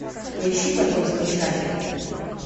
поищи потомство чаки